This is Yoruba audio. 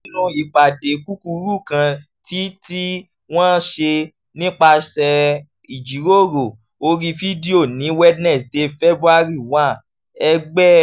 nínú ìpàdé kúkúrú kan tí tí wọ́n ṣe nípasẹ̀ ìjíròrò orí fídíò ní wednesday february one ẹgbẹ́